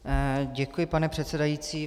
Děkuji, pane předsedající.